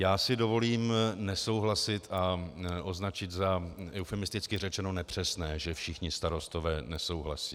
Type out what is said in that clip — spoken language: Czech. Já si dovolím nesouhlasit a označit za eufemisticky řečeno nepřesné, že všichni starostové nesouhlasí.